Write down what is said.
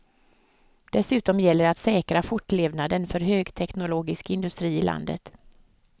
Dessutom gäller det att säkra fortlevnaden för högteknologisk industri i landet.